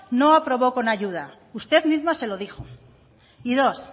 no aprobó con ayuda usted misma se lo dijo y dos